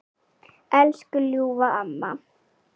Elsku ljúfa amma.